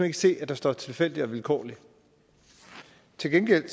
ikke se at der står tilfældig og vilkårlig til gengæld